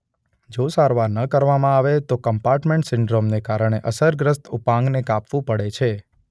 જો સારવાર ન કરવામાં આવે તો કમ્પાર્ટમેન્ટ સિન્ડ્રોમને કારણે અસરગ્રસ્ત ઉપાંગને કાપવું પડે છે.